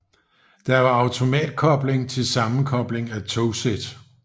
Der var automatkobling til sammenkobling af togsæt